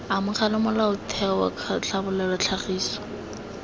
amogela molaotheo c tlhabolola tlhagiso